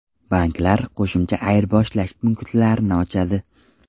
Banklar qo‘shimcha ayirboshlash punktlarini ochadi.